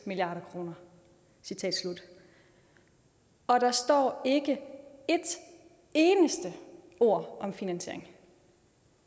milliard kroner citat slut og der står ikke et eneste ord om finansiering